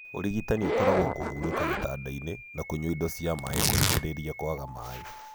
Ũrigitani ũkoragwo kũhurũka gĩtandainĩ na kũnywa indo cia maĩ rũrigĩrĩria kwaga maĩ.